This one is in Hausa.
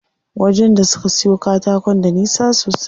Wajen da suke siyo katakon da nisa sosai.